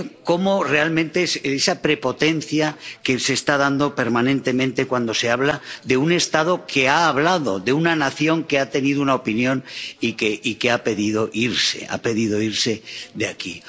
Cómo es realmente esa prepotencia que se está dando permanentemente cuando se habla de un Estado que ha hablado, de una nación que ha tenido una opinión y que ha pedido irse de aquí.